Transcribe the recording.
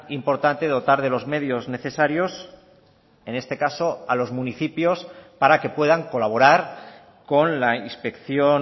importante dotar de los medios necesarios en este caso a los municipios para que puedan colaborar con la inspección